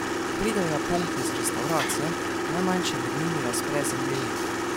Ko pridejo Japonke iz restavracije, najmanjša med njimi razpre zemljevid.